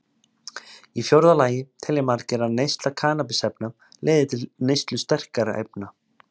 Í fjórða lagi telja margir að neysla kannabisefna leiði til neyslu sterkari efna.